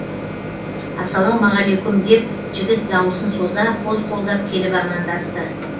ассалаумағалейкүм деп жігіт дауысын соза қос қолдап келіп амандасты